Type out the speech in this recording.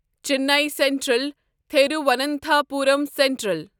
Chennai central Thiruvananthapuram central mail